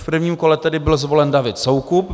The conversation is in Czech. V prvním kole byl tedy zvolen David Soukup.